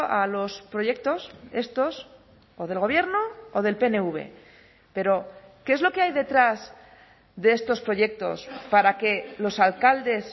a los proyectos estos o del gobierno o del pnv pero qué es lo que hay detrás de estos proyectos para que los alcaldes